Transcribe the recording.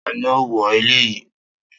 Ta ni ó wó ilé yìí?